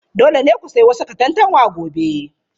Dole ne ku sayi wasu katantanwa gobe.